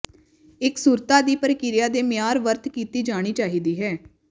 ਇਕਸੁਰਤਾ ਦੀ ਪ੍ਰਕਿਰਿਆ ਦੇ ਮਿਆਰ ਵਰਤ ਕੀਤੀ ਜਾਣੀ ਚਾਹੀਦੀ ਹੈ